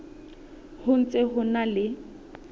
ho ntse ho na le